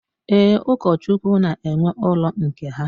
Ee, Ụkọchukwu na-enwe ụlọ nke ha.